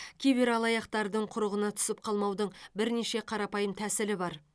кибералаяқтардың құрығына түсіп қалмаудың бірнеше қарапайым тәсілі бар